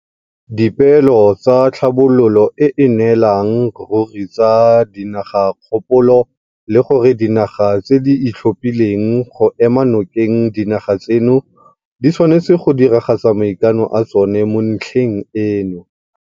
Dipeelo tsa Tlhabololo e e Nnelang Ruri tsa Dinagakopano le gore dinaga tse di ithaopileng go ema nokeng dinaga tseno di tshwanetse go diragatsa maikano a tsona mo ntlheng eno.